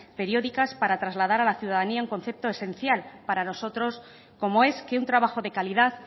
periódicas para trasladar a la ciudadanía un concepto esencial para nosotros como es que un trabajo de calidad